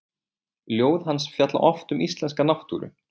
Ljóð hans fjalla oft um íslenska náttúru.